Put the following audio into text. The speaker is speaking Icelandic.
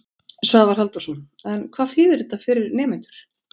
Svavar Halldórsson: En hvað þýðir þetta fyrir nemendur?